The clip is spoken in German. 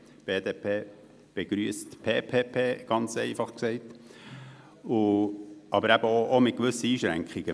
Die BDP begrüsst PPP-Projekte, jedoch unter einigen Einschränkungen.